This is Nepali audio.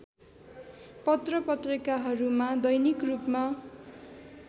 पत्रपत्रिकाहरूमा दैनिक रूपमा